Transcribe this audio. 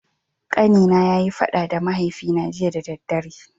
Kani na ya yi fada da mahaifi na jiya da dare.